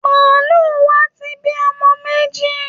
Màálù wa ti bí ọmọ méjì